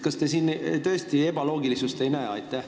Kas te siin tõesti ebaloogilisust ei näe?